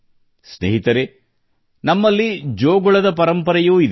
ಸ್ನೇಹಿತರೆ ನಮ್ಮಲ್ಲಿ ಜೋಗುಳದ ಪರಂಪರೆಯೂ ಇದೆ